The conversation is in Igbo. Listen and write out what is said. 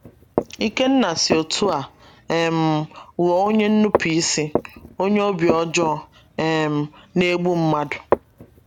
Ikenna si otú a um ghọọ onye nnụpụisi, - onye obi ojoo um na egbụ mmadụ.